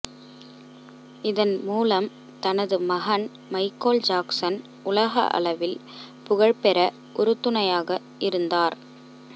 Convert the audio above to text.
இதன் மூலம் தனது மகன் மைக்கோல் ஜாக்சன் உலக அளவில் புகழ்பெற உறுதுணையாக இருந்தார்